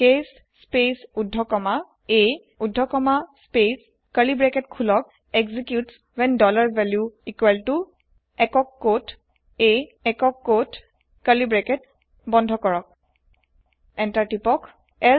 case space উদ্ধকমা a উদ্ধকমা space curly bracket খোলক এক্সিকিউটছ ৱ্হেন value একক কোট a একক কোট কাৰ্লী ব্ৰাকেট বন্ধ কৰক এন্টাৰ তিপক